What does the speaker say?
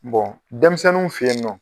dɛmisɛnninw fe yen nɔ